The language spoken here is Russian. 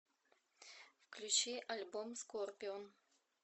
включи альбом скорпион